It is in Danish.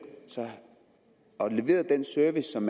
og leveret den service som